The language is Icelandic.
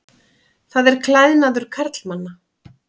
Það er klæðnaður karlmanna.